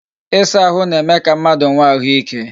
Ịsa ahụ na-eme ka mmadụ nwe ahụike